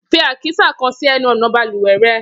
Fi àkísà kan sì ẹnu ọ̀nà balùwẹ̀ rẹ!